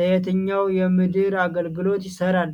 ለየትኛው የምድር አገልግሎት ይሰራል?